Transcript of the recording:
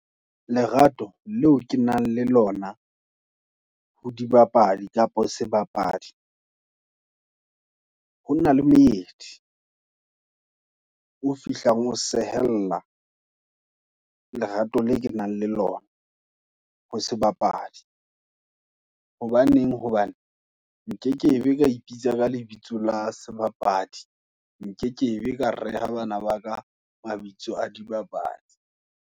Lerato, le o ke nang le lona, ho dibapadi kapa sebapadi, ho na le moedi, o fihlang o sehella, lerato le ke nang le lona, ho sebapadi. Hobaneng, hobane, nkekebe ka ipitsa ka lebitso la sebapadi, nkekebe ka reha bana baka, mabitso a dibapadi.